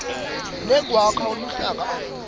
nekwakha luhlaka akukho